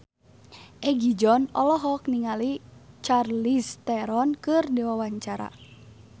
Egi John olohok ningali Charlize Theron keur diwawancara